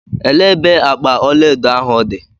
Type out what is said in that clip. Elee ebe akpa ọlaedo ahụ dị?